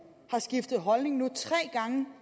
har skiftet holdning er